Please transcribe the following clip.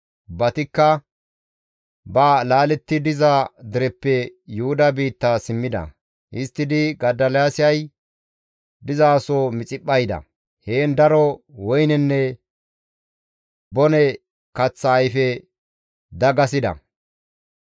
Ubbatikka ba laaletti diza dereppe Yuhuda biitta simmida. Histtidi Godoliyaasay dizaso Mixiphpha yida; heen daro woynenne bone kaththa ayfe dagasida.